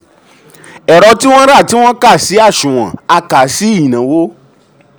ẹ̀rọ tí ẹ̀rọ tí um wọ́n rá tí wọ́n kà sí um àsunwon a kà sí ìnáwó.